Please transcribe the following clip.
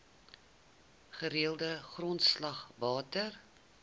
gereelde grondslag water